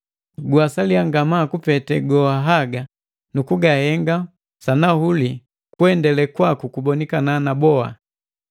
Guwasaliya ngamaa kupete haga goha nukugahenga sanahuli kuendele kwaku kubonikana na boka.